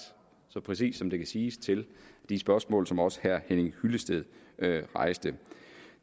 så præcist som det kan siges til de spørgsmål som også herre henning hyllested rejste